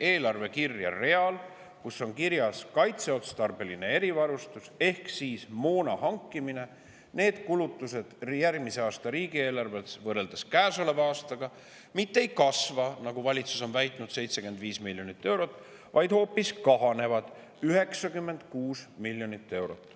eelarvekirje real, kus on kirjas "Kaitseotstarbeline erivarustus" ehk moona hankimine, kulutused võrreldes käesoleva aastaga mitte ei kasva 75 miljonit eurot, nagu valitsus on väitnud, vaid hoopis kahanevad 96 miljonit eurot.